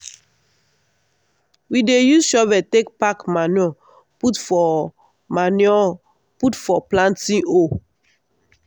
we dey use shovel take pack manure put for manure put for planting hole.